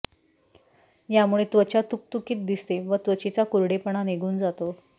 यामुळे त्वचा तुकतुकीत दिसते व त्वचेचा कोरडेपणा निघून जातो